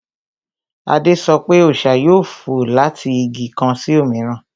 Adé sọ pé, Ọṣà yóò fò láti Igi kan sí òmíràn